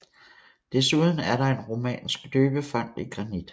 Desuden er der en romansk døbefont i granit